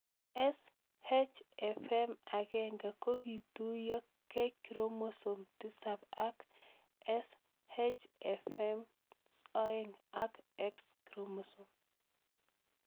SHFM1 ko kituyo k chromosome 7 akSHFM2 ak X chromosome